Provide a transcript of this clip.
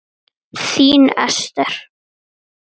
Þín Ester.